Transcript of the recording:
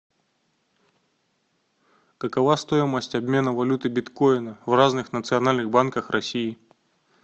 какова стоимость обмена валюты биткоина в разных национальных банках россии